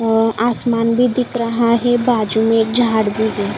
आसमान भी दिख रहा है। बाजू में एक झाड़ भी है।